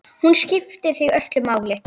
Hún skipti þig öllu máli.